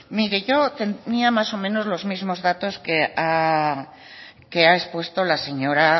mire yo tenía más o menos los mismos datos que ha expuesto la señora